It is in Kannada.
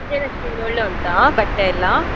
ಜಯಲಕ್ಷ್ಮೀಯಲ್ಲಿ ಒಳ್ಳೆದುಂಟಾ ಬಟ್ಟೆ ಎಲ್ಲ?